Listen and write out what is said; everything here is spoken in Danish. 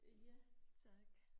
Ja tak